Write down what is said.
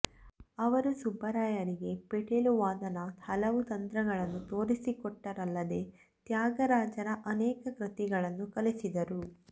ಅವರು ಸುಬ್ಬರಾಯರಿಗೆ ಪಿಟೀಲು ವಾದನದ ಹಲವು ತಂತ್ರಗಳನ್ನು ತೋರಿಸಿಕೊಟ್ಟರಲ್ಲದೆ ತ್ಯಾಗರಾಜರ ಅನೇಕ ಕೃತಿಗಳನ್ನೂ ಕಲಿಸಿದರು